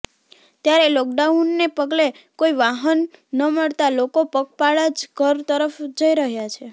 ત્યારે લોકડાઉનને પગલે કોઇ વાહન ન મળતા લોકો પગપાળા જ ઘર તરફ જઇ રહ્યા છે